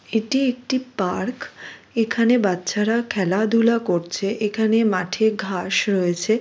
এটি একটি পার্ক । এখানে বাচ্চারা খেলাধুলা করছে। এখানে মাঠে ঘাস রয়েছে।